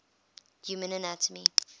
human anatomy